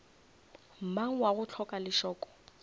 mang wa go hloka lešoko